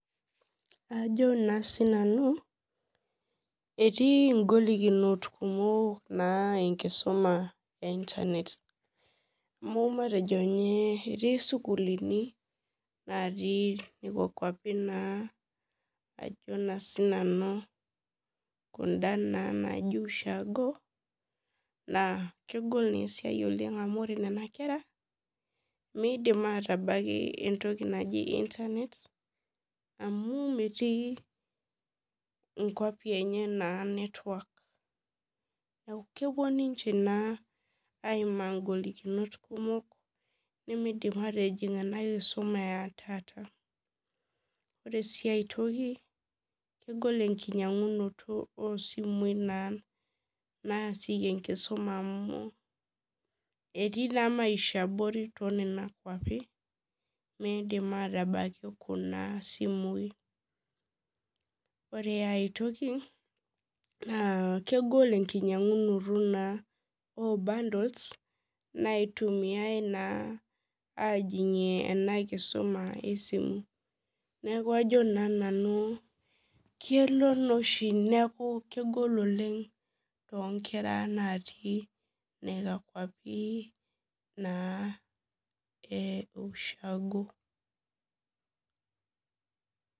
Ajo na sinanu etii golikinot kumok enkisuma e internet amu matejo nye etii sukulini natii nekwa kwapi naa ajo na sinanu kuna kwapi naijo ushago amu ore nona kera midim atabaki entoki naji internet amu metii nkwapi enye neaku kepuo ninche naa aimaa ngolikinot kumok nimidim atijing enakisuma etaata ore si aitoki kegol enkinyangunoto osimui naasieki enkisuma amuetii na maisha abori tekunakwapi midip atabaki kuna simui ore aitoki na kegol enkingangunto obundles naitumiai na aningie enakisuma esimu neaku ajo na nanu kelo oshi neaku kegol oleng to kera natii nekwa kwapi e ushagoo